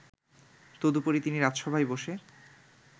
তদুপরি তিনি রাজসভায় বসে